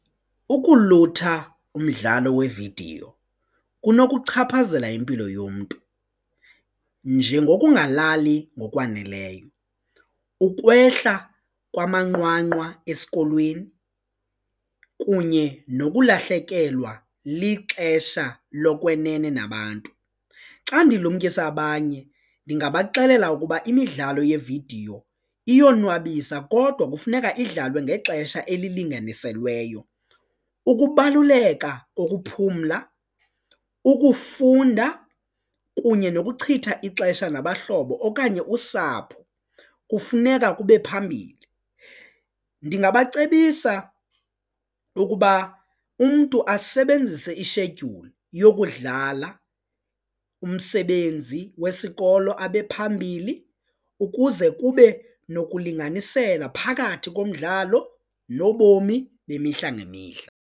Ukulutha umdlalo wevidiyo kunokuchaphazela impilo yomntu njengokungalali okwaneleyo, ukwehla kwamanqwanqwa esikolweni kunye nokulahlekelwa lixesha lokwenene nabantu. Xa ndilumkisa abanye ndingabaxelela ukuba imidlalo yevidiyo iyonwabisa kodwa kufuneka idlalwe ngexesha elilinganiselweyo ukubaluleka kokuphumla, ukufunda kunye nokuchitha ixesha nabahlobo okanye usapho, kufuneka kube phambili. Ndingabacebisa ukuba umntu asebenzise ishedyuli yokudlala umsebenzi wesikolo abephambili ukuze kube nokulinganisela phakathi komdlalo nobomi bemihla ngemihla.